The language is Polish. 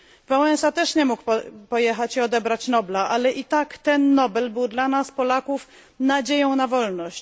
Wałęsa też nie mógł pojechać odebrać Nobla, ale i tak ten Nobel był dla nas Polaków nadzieją na wolność.